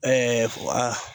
fua